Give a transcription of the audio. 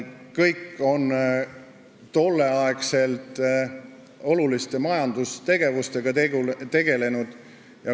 Kõik on tol ajal oluliste majandustegevustega tegelenud.